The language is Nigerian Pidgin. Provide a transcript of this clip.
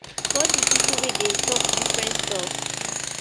for all of di pipo wey dey tok different stuff